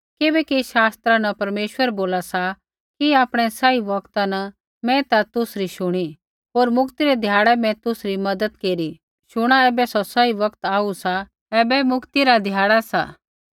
किबैकि शास्त्रा न परमेश्वर बोला सा कि आपणै सही बौगता न मैं ता तुसरी शुणी होर मुक्ति रै ध्याड़ै मैं तुसरी मज़त केरी शुणा ऐबै सौ सही बौगत सा शुणा ऐबै मुक्ति रा ध्याड़ा सा